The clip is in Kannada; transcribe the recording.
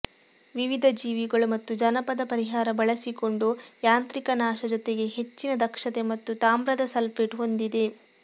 ವಿವಿಧ ಜೀವಿಗಳು ಮತ್ತು ಜಾನಪದ ಪರಿಹಾರ ಬಳಸಿಕೊಂಡು ಯಾಂತ್ರಿಕ ನಾಶ ಜೊತೆಗೆ ಹೆಚ್ಚಿನ ದಕ್ಷತೆ ಮತ್ತು ತಾಮ್ರದ ಸಲ್ಫೇಟ್ ಹೊಂದಿದೆ